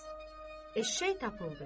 Eşşək tapıldı.